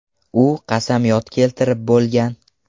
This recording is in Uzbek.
U qasamyod keltirib bo‘lgan.